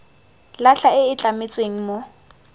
latlha e e tlametsweng mo